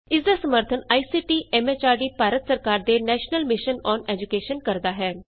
ਇਸ ਦਾ ਸਮਰੱਥਨ ਆਈਸੀਟੀ ਐਮ ਐਚਆਰਡੀ ਭਾਰਤ ਸਰਕਾਰ ਦੇ ਨੈਸ਼ਨਲ ਮਿਸ਼ਨ ਅੋਨ ਏਜੂਕੈਸ਼ਨ ਕਰਦਾ ਹੈ